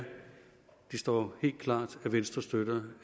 det står helt klart at venstre støtter